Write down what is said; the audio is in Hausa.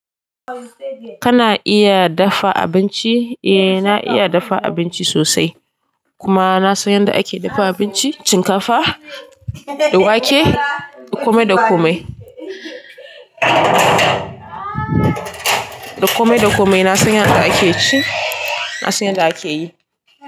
Kana iya dafa abinci? Eh na iya dafa abinci sosai. Kuma na san yanda ake dafa abinci, shinkafa, da wake, du kome da kome. Da komai da komai na san yadda ake ci, na san yadda ake yi.